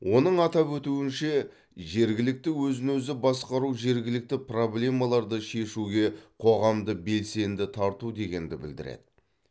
оның атап өтуінше жергілікті өзін өзі басқару жергілікті проблемаларды шешуге қоғамды белсенді тарту дегенді білдіреді